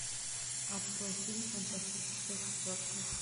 открой фильм фантастическая четверка